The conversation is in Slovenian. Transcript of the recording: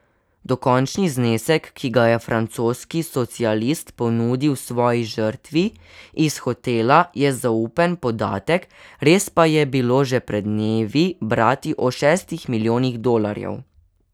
Dokončni znesek, ki ga je francoski socialist ponudil svoji žrtvi iz hotela, je zaupen podatek, res pa je bilo že pred dnevi brati o šestih milijonih dolarjev.